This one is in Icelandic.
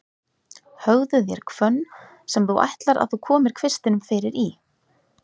Höggðu þér hvönn, sem þú ætlar að þú komir kvistinum fyrir í.